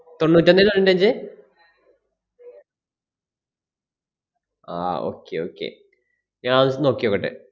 തൊണ്ണൂറ്റൊന്നേ തൊണ്ണൂറ്റഞ്ചേ ആഹ് okay okay ഞാനൊന്ന് നോക്കിനോക്കട്ടെ.